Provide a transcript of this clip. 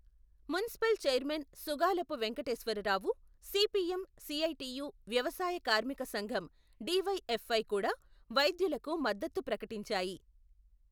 Municipal chairman Sugalapu Venkateswararao, CPM, CITU, వ్యవసాయ కార్మిక సంఘుం డి.వై.ఎఫ్.ఐ. కూడా, వైద్యులకు మద్దతు ప్రకటించాయి.